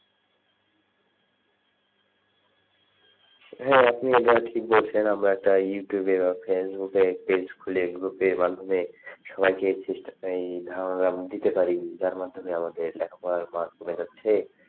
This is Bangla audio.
হ্যাঁ, আপনি এটা ঠিক বলেছেন আমরা একটা ইউটিউব এ বা ফেসবুকে page খুলে group এর মাধ্যমে সবাইকে দিতে পারি চেষ্টা যার মাধ্যমে আমাদের লেখা পড়া মান কমে যাচ্ছে,